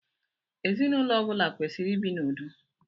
Ezinụlọ ọbula kwesiri ibi n'ụdo